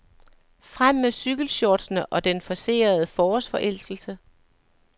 Frem med cykelshortsene og den forcerede forårsforelskelse.